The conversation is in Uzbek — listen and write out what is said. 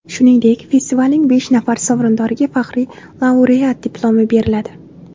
Shuningdek, festivalning besh nafar sovrindoriga faxriy laureat Diplomi beriladi.